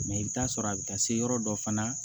i bɛ t'a sɔrɔ a bɛ taa se yɔrɔ dɔ fana na